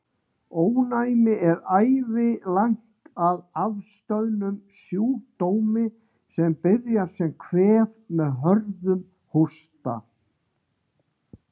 Ónæmi er ævilangt að afstöðnum sjúkdómi, sem byrjar sem kvef með hörðum hósta.